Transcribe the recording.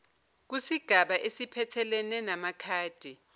kusigaba esiphathelene namakhadi